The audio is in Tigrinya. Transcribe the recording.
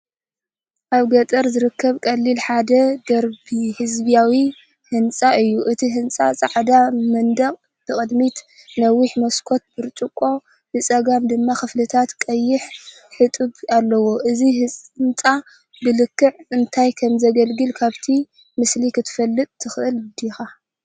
ኣብ ገጠር ዝርከብ ቀሊል ሓደ ደርቢ ህዝባዊ ህንጻ እዩ። እቲ ህንጻ ጻዕዳ መንደቕ፡ ብቕድሚት ነዋሕቲ መስኮት ብርጭቆ፡ ብጸጋም ድማ ክፍልታት ቀይሕ ሕጡብ ኣለዎ። እዚ ህንጻ ብልክዕ እንታይ ከም ዘገልግል ካብቲ ምስሊ ክትፈልጥ ትኽእል ዲኻ?